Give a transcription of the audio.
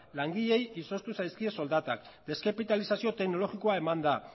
langileei izoztu zaizkie soldatak deskapitalizazio teknologikoa eman da